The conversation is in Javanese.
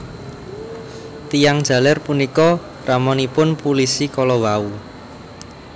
Tiyang jaler punika ramanipun pulisi kalawau